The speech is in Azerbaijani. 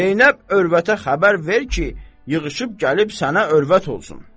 Zeynəb övrətə xəbər ver ki, yığışıb gəlib sənə övrət olsun.